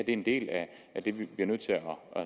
en del af at vi bliver nødt til at